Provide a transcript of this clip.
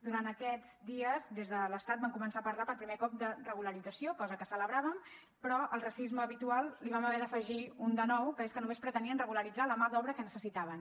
durant aquests dies des de l’estat van començar a parlar per primer cop de regularització cosa que celebràvem però al racisme habitual n’hi vam haver d’afegir un de nou que és que només pretenien regularitzar la mà d’obra que necessitaven